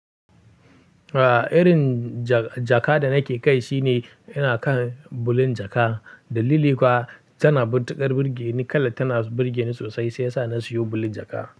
A, irin ja, jaka da nake kai shine ina kan bulin jaka. Dalili kuwa tana mutuƙar birgeni, kalar tana birgeni sosai sai yasa na siyo bulin jaka.